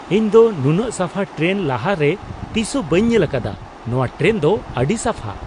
ᱤᱧ ᱫᱚ ᱱᱩᱱᱟᱹᱜ ᱥᱟᱯᱷᱟ ᱴᱨᱮᱱ ᱞᱟᱦᱟᱨᱮ ᱛᱤᱥ ᱦᱚᱸ ᱵᱟᱹᱧ ᱧᱮᱞ ᱟᱠᱟᱫᱟ ! ᱱᱚᱣᱟ ᱴᱨᱮᱱ ᱫᱚ ᱟᱹᱰᱤ ᱥᱟᱯᱷᱟ !